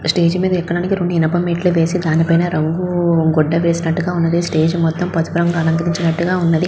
Stage మీద ఎక్కటానికి రెండు ఇనపా మెట్లు వేసి దాని పైన రంగు గూడ వెసినట్టుగా ఉంది స్టేజి మొత్తం పసుపు రంగుతో అలంకరించినట్టు గా ఉన్నది.